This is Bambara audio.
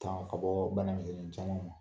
Tanga ka bɔ bana misinnin caman ma.